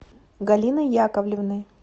галиной яковлевной